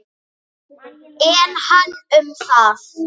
En hann um það.